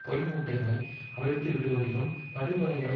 பொய் மூட்டைகளை அவிழ்த்துவிடுவதிலும் படுகொலைகளை